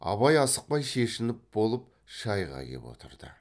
абай асықпай шешініп болып шайға кеп отырды